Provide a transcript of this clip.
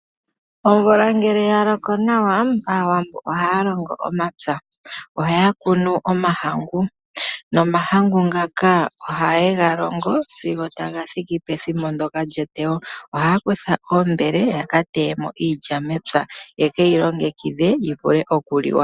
Omvula ngele yaloko nawa, aawambo ohaya longo omapya. Ohaya kunu omahangu, nomahangu ngaka ohaye ga longo sigo taga thiki pethimbo ndyoka lyeteyo. Ohaya kutha oombele, yaka teye mo iilya mepya, yekeyi longekidhe yivule okuliwa.